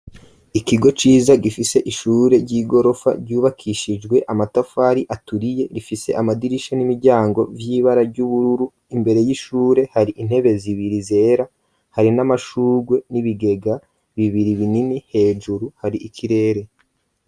Ikigo ciza gifise ishure ry'igorofa ryubakishijwe amatafari aturiye rifise amadirisha n'imiryango vy'ibara ry'ubururu, imbere y'ishure hari intebe zibiri zera hari n'amashugwe n'ibigega bibiri binini hejuru hari ikirere.